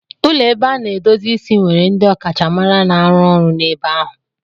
Ụlọ ebe a na-edozi isi nwere ndị ọkachamara na-arụ ọrụ n'ebe ahụ.